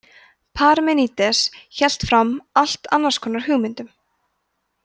parmenídes hélt fram allt annars konar hugmyndum